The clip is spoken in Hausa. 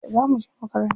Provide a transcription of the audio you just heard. Yauce za muje makaranta?